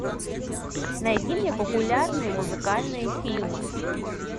найди мне популярные музыкальные фильмы